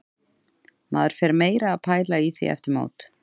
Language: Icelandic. Maður fer meira að pæla í því eftir mót.